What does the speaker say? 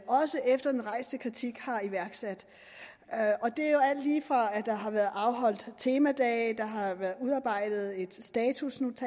også efter den rejste kritik har iværksat det er jo alt lige fra at der har været afholdt temadage der har været udarbejdet et statusnotat